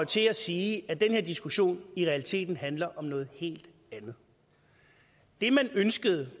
til at sige at den her diskussion i realiteten handler om noget helt andet det man ønskede